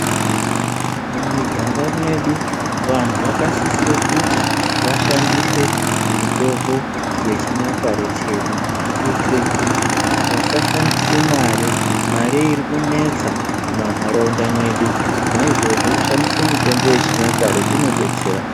Mumiganga mwedu vanhu vakasisire kuti vashandise mitombo yechinyakare chedu kuitire kuti vasashandise mare. Mare iri kunetsa mwumwanharaunda mwedu. Naizvozvo kushandise mitombo yechinyakare kunodetsera.